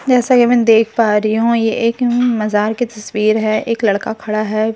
जैसा की मैं देख पा रही हूँ ये एक म मजार के तस्वीर है एक लड़का खड़ा है फुल --